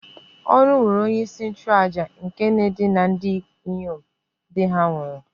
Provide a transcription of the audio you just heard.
Oru nwere onye-isi-nchu-àjà nke na-edina ndinyom di-ha nwuru